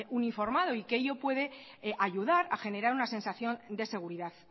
uniformado y que ello puede ayudar a generar una sensación de seguridad